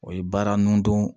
O ye baara nun don